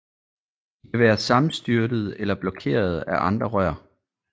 De kan være sammenstyrtede eller blokerede af andre rør